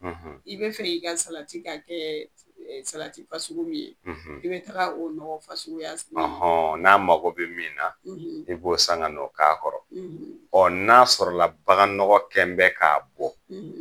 . I bɛ fɛ i ka salati ka kɛ salati fasugu min ye. . I bɛ taa o nɔgɔfasuguya san. N'a mako bɛ min na, , i b'o san ka n'o k'a kɔrɔ, n'a sɔrɔ la a bagan nɔgɔ kɛn bɛ k'a bɔ.